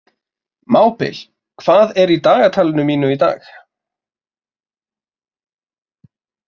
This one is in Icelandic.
Mábil, hvað er í dagatalinu mínu í dag?